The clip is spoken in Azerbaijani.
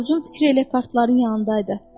Corcun fikri elə kartların yanındaydı.